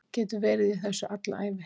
Get verið í þessu alla ævi